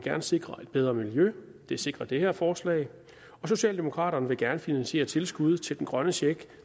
sikre et bedre miljø og det sikrer det her forslag socialdemokraterne vil gerne finansiere tilskud til den grønne check